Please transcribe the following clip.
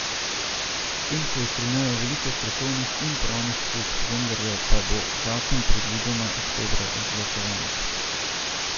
S tem se je strinjalo veliko strokovnih in pravnih služb, vendarle pa bo zakon predvidoma oktobra izglasovan.